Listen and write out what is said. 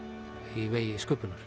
í vegi sköpunar